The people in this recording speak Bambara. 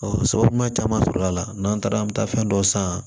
sababu ɲuman caman sɔrɔla a la n'an taara an bɛ taa fɛn dɔ san